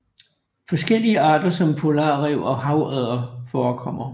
Forskellige arter som polarræv og havodder forekommer